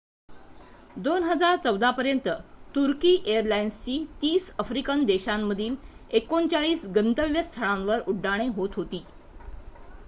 २०१४ पर्यंत तुर्की एअरलाइन्सची ३० आफ्रिकन देशांमधील ३९ गंतव्यस्थळांवर उड्डाणे होत होती